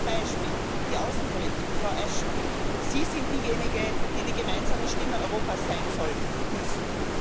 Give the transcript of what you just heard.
Beispiel Außenpolitik Frau Ashton, Sie sind diejenige, die die gemeinsame Stimme Europas sein sollte und müsste.